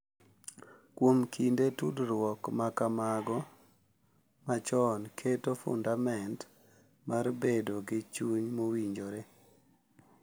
Kuom kinde, tudruok ma kamago machon keto fundament mar bedo gi chuny mowinjore .